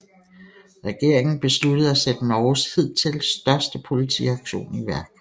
Regeringen besluttede at sætte Norges hidtil største politiaktion i værk